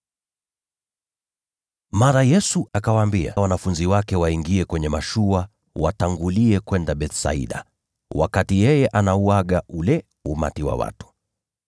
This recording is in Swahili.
Mara Yesu akawaambia wanafunzi wake waingie kwenye mashua watangulie kwenda Bethsaida, wakati yeye alikuwa akiwaaga wale makutano.